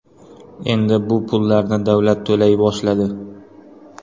Endi bu pullarni davlat to‘lay boshladi .